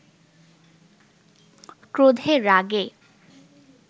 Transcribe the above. ক্রোধে রাগে